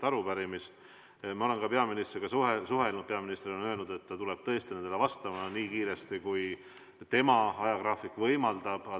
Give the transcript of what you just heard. Ma olen peaministriga suhelnud, peaminister on öelnud, et ta tuleb nendele vastama tõesti nii kiiresti, kui tema ajagraafik võimaldab.